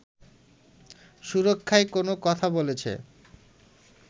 সুরক্ষায় কোনো কথা বলেছে